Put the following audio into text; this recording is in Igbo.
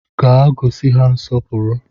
Gaa gosi ha nsọpụrụ!